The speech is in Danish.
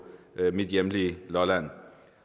mit hjemlige lolland